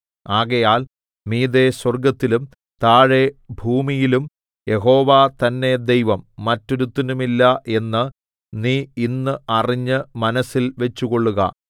ആകയാൽ മീതെ സ്വർഗ്ഗത്തിലും താഴെ ഭൂമിയിലും യഹോവ തന്നെ ദൈവം മറ്റൊരുത്തനുമില്ല എന്ന് നീ ഇന്ന് അറിഞ്ഞ് മനസ്സിൽ വച്ചുകൊള്ളുക